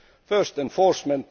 first, enforcement